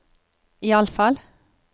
iallfall